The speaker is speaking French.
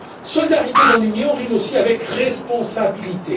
Solidarité dans l'Union rime aussi avec responsabilité.